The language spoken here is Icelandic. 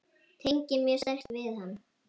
Tengi mjög sterkt við hann.